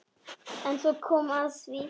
En svo kom að því.